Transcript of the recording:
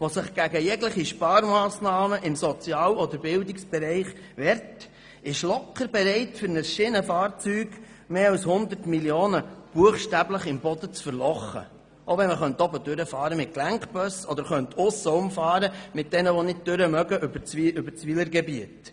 die sich gegen jegliche Sparmassnahmen im Sozial- oder Bildungsbereich wehrt, ist locker bereit, für ein Schienenfahrzeug mehr als 100 Mio. Franken buchstäblich im Boden zu vergraben, selbst wenn man mit Gelenkbussen oben drüber oder mit jenen, die nicht durchkommen über das Wylergebiet aussenherum fahren könnte.